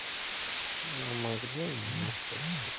а могли меня спасти